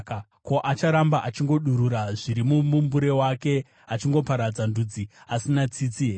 Ko, acharamba achingodurura zviri mumumbure wake, achingoparadza ndudzi asina tsitsi here?